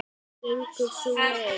Hvernig gengur sú leit?